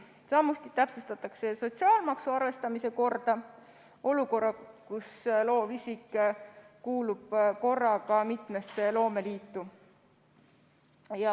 Samuti täpsustatakse sotsiaalmaksu arvestamise korda olukorras, kus loovisik kuulub korraga mitmesse loomeliitu.